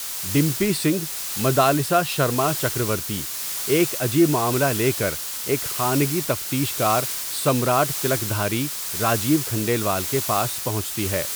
Dumpy Singh Madalsa Sharma Chakravarti, ایک عجیب معاملہ لے کر ایک خانگی تفتیش کار سمراٹ تلکدھاری راجیو کھنڈیلوال کے پاس پہنچتی ہے.